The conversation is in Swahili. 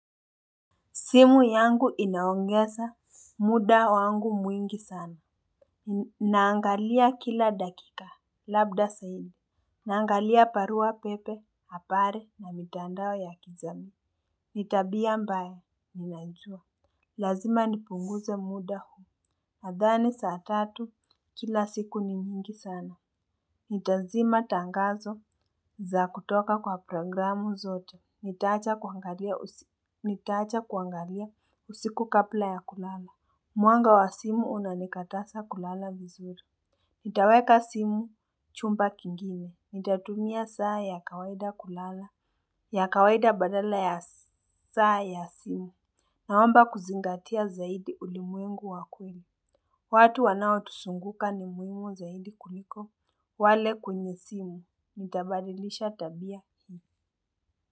Simu yangu inaongeza muda wangu mwingi sana. Naangalia kila dakika. Labda zaidi. Naangalia barua pepe, habari na mitandao ya kijamii. Ni tabia mbaya, ninajua. Lazima nipunguze muda huu. Nadhani saa tatu kila siku ni nyingi sana. Nitazima tangazo za kutoka kwa programu zote nitaacha kuangalia. Nitaacha kuangalia usiku kabla ya ku lala. Muanga wa simu unanikataza kulala vizuri. Nitaweka simu chumba kingine. Nitatumia saa ya kawaida kulala. Ya kawaida badala ya saa ya simu. Naomba kuzingatia zaidi ulimwengu wa kweli. Watu wanao tuzunguka ni muhimu zaidi kuliko wale kwenye simu. Nitabadilisha tabia.